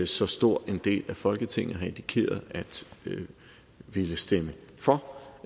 så stor en del af folketinget har indikeret at ville stemme for